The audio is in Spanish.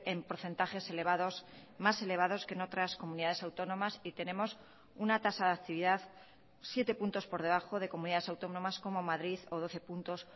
en porcentajes elevados más elevados que en otras comunidades autónomas y tenemos una tasa de actividad siete puntos por debajo de comunidades autónomas como madrid o doce puntos